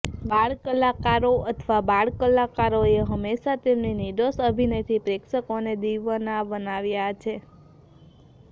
બાળ કલાકારો અથવા બાળ કલાકારોએ હંમેશાં તેમની નિર્દોષ અભિનયથી પ્રેક્ષકોને દિવાના બનાવ્યા છે